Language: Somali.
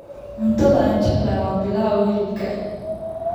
Cuntada aan jeclahay waa pilaf hilibka.